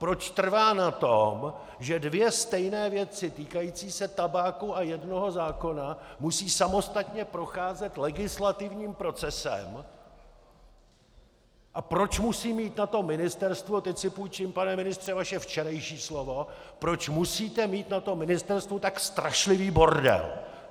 Proč trvá na tom, že dvě stejné věci týkající se tabáku a jednoho zákona musí samostatně procházet legislativním procesem a proč musí mít na to ministerstvo - teď si půjčím, pane ministře, vaše včerejší slovo - proč musíte mít na tom ministerstvu tak strašlivý bordel!